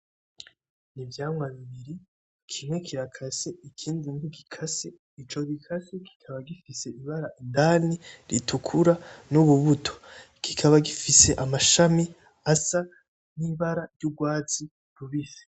Ivyamwa bibiri kimwe kirakase ikindi ntigikase ,ico gikase kikaba gifise ibara indani ritukura n’urubuto kikaba gifise amashami asa n’ibara ry'urwatsi rubisi.